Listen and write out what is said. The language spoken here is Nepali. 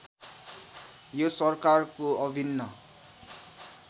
यो सरकारको अभिन्न